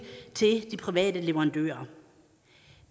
til de private leverandører